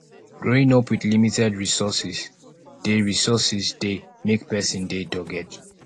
growing up with limited resources dey resources dey make person dey dogged